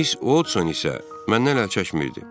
Miss Odson isə məndən əl çəkmirdi.